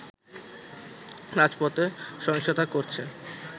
রাজপথে সহিংসতা করছে